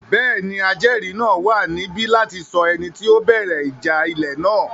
Bẹ́ẹ̀ni, ajẹ́ẹ̀rí náà wà níbí láti sọ ẹni tí ó bẹ̀rẹ̀ ìjà ilẹ̀ náà